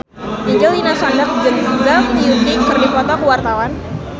Angelina Sondakh jeung Zhang Yuqi keur dipoto ku wartawan